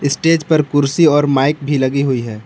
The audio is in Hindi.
स्टेज पर कुर्सी और माइक भी लगी हुई है।